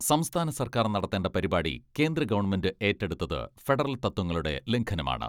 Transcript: സംസ്ഥാന സർക്കാർ നടത്തേണ്ട പരിപാടി കേന്ദ്രഗവൺമെന്റ് ഏറ്റെടുത്തത് ഫെഡറൽ തത്വങ്ങളുടെ ലംഘനമാണ്.